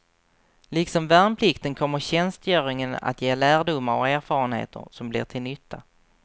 Liksom värnplikten kommer tjänstgöringen att ge lärdomar och erfarenheter, som blir till nytta.